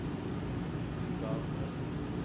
ungarere